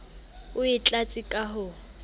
o e tlatse ka ho